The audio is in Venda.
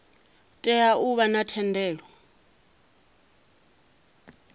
tea u vha na thendelo